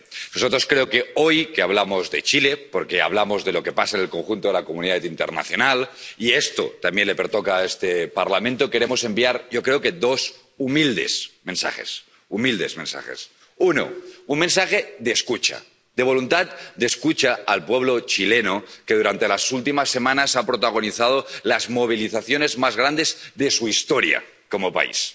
Señora presidenta, señora alta representante, nosotros —que hoy hablamos de Chile, porque hablamos de lo que pasa en el conjunto de la comunidad internacional, y esto también le toca a este Parlamento— queremos enviar, yo creo, dos humildes mensajes. Uno un mensaje de escucha. De voluntad de escucha al pueblo chileno, que durante las últimas semanas ha protagonizado las movilizaciones más grandes de su historia como país.